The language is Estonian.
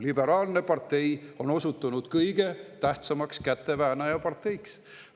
Liberaalne partei on osutunud kõige tähtsamaks käteväänajaparteiks.